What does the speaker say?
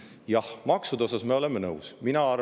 Jah, maksude osas me oleme.